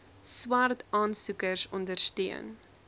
swart aansoekers ondersteun